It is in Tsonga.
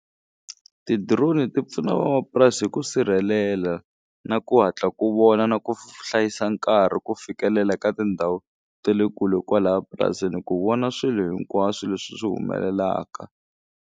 Ti-drone ti pfuna vamapurasi hi ku sirhelela na ku hatla ku vona na ku hlayisa nkarhi ku fikelela ka tindhawu te le kule kwalaya purasini ku vona swilo hinkwaswo leswi swi humelelaka.